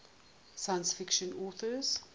science fiction authors